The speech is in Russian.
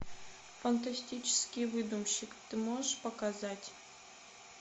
фантастический выдумщик ты можешь показать